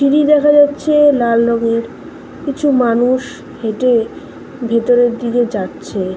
TV. দেখা যাচ্ছেলাল রংএর কিছু মানুষ হেঁটেভিতরের দিকে যাচ্ছে ।